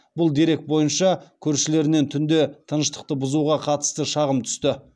бұл дерек бойынша көршілерінен түнде тыныштықты бұзуға қатысты шағым түсті